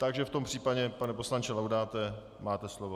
Takže v tom případě pane poslanče Laudáte máte slovo.